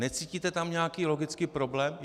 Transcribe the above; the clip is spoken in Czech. Necítíte tam nějaký logický problém?